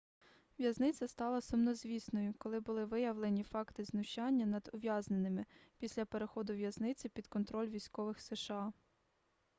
в'язниця стала сумнозвісною коли були виявлені факти знущання над ув'язненими після переходу в'язниці під контроль військових сша